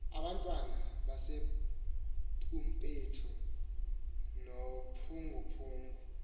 abantwana abasebumpethu nophunguphungu